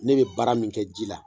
Ne bɛ baara min kɛ ji la